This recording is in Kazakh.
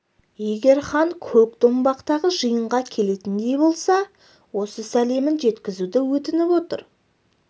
егер хан көкдомбақтағы жиынға келетіндей болса осы сәлемін жеткізуді өтініп отыр